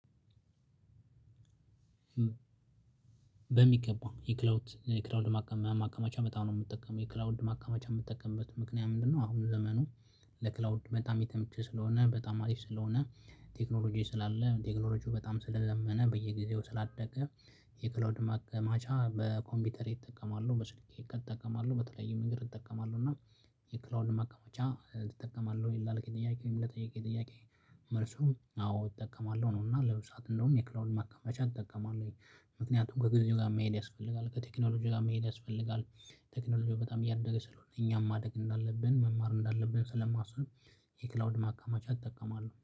በሚገባ የክላውድ የክላውድ ማከማቻ በጣም ነው የምጠቀመው የክላውድ ማከማቻ የምጠቀምበት ምክንያት ምንድነው? አሁን ዘመኑ ለክላውድ በጣም የተመቸ ስለሆነ በጣም አሪፍ ስለሆነ ቴክኖሎጂ ስላለ ቴክኖሎጂው በጣም ስለዘመነ በየጊዜው ስላደገ የክላውድ ማከማቻ በኮምፒውተሬ እጠቀማለሁ በስልኬ እጠቀማለሁ በተለያየ መንገድ እጠቀማለሁ። እና የክላውድ ማከማቻ ትጠቀማለህ ወይ ላልከኝ ጥያቄ ወይም ለጠየከኝ ጥያቄ? መልሱም አዎ እጠቀማለሁ ነው እና ለብዙ ሰዓት እንደውም የክላውድን ማከማቻ እጠቀማለሁኝ። ምክንያቱም ከግዜው ጋር መሄድ ያስፈልጋል ከቴክኖሎጂ ጋር መሄድ ያስፈልጋል። ቴክኖሎጂው በጣም እያደገ ስለሆነ እኛም ማደግ እንዳለብን መማር እንዳለብን ስለማስብ። የክላውድ ማከማቻ እጠቀማለሁ